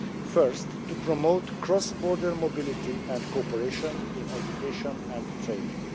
Firstly, to promote cross border mobility and cooperation in education and training.